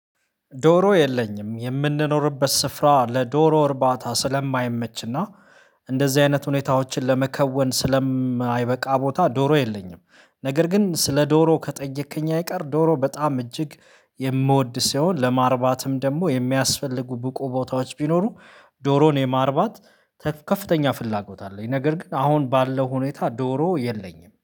ዶሮ የለኝም የምንኖርበት ስፍራ ለዶሮ እርባታ ስለማይመችና እንደዚህ አይነት ሁኔታዎችን ለመከወን ስለማይበቃ ቦታ ዶሮ የለኝም። ነገር ግን ስለ ዶሮ ከጠየከኝ አይቀር ዶሮ በጣም እጅግ የምወድ ሲሆን ለማርባትም ደግሞ የሚያስፈልጉ ብቁ ቦታዎች ቢኖሩ ዶሮን የማርባት ከፍተኛ ፍላጎት አለኝ። ነገር ግን አሁን ባለው ሁኔታ ዶሮ የለኝም